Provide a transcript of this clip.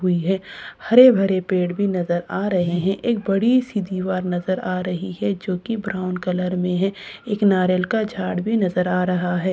हुई है हरे भरे पेड़ भी नजर आ रहे है एक बड़ी सी दीवार नजर आ रही है जो कि ब्राउन कलर में है एक नारियल का झाड़ भी नजर आ रहा है।